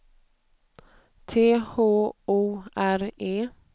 T H O R E